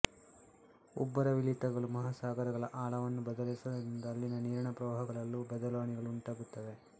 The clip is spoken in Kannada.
ಉಬ್ಬರವಿಳಿತಗಳು ಮಹಾಸಾಗರಗಳ ಆಳವನ್ನು ಬದಲಾಯಿಸುವುದರಿಂದ ಅಲ್ಲಿನ ನೀರಿನ ಪ್ರವಹಗಳಲ್ಲೂ ಬದಲಾವಣೆಗಳು ಉಂಟಾಗುತ್ತವೆ